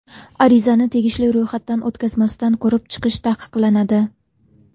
Arizani tegishli ro‘yxatdan o‘tkazmasdan ko‘rib chiqish taqiqlanadi.